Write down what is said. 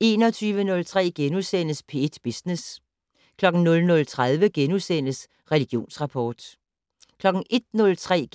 21:03: P1 Business * 00:30: Religionsrapport * 01:03: